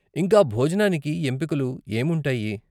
ఇంకా భోజనానికి ఎంపికలు ఏముంటాయి?